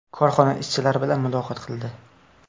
Korxona ishchilari bilan muloqot qildi.